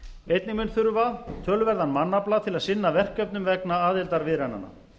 einnig mun þurfa töluverðan mannafla til að sinna verkefnum vegna aðildarviðræðnanna